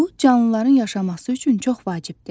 Bu canlıların yaşaması üçün çox vacibdir.